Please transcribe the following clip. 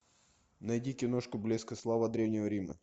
найди киношку блеск и слава древнего рима